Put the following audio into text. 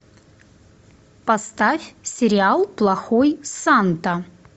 поставь сериал плохой санта